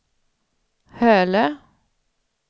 Hölö